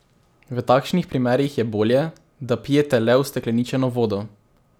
V takšnih primerih je bolje, da pijete le ustekleničeno vodo.